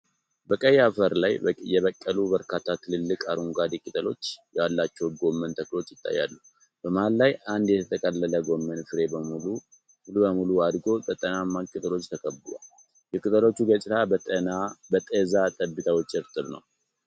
በቀይ አፈር ላይ የበቀሉ በርካታ ትልልቅ፣ አረንጓዴ ቅጠሎች ያሏቸው ጎመን ተክሎች ይታያሉ። በመሃል ላይ አንድ የተጠቀለለ ጎመን ፍሬ ሙሉ በሙሉ አድጎ በጤናማ ቅጠሎች ተከብቧል። የቅጠሎቹ ገጽታ በጤዛ ጠብታዎች እርጥብ ነው።